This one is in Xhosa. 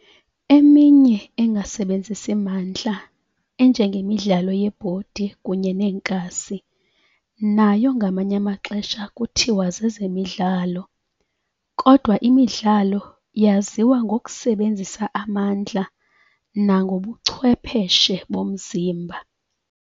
Eminye engasebenzisi mandla enjengemidlalo yebhodi kunye neenkasi nayo ngamanye amaxhesha kuthiwa zezemidlalo, kodwa imidlalo yaziwa ngokusebenzisa amandla nangobuchwepheshe bomzimba.